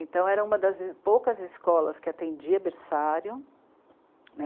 Então, era uma das poucas escolas que atendia berçário, né.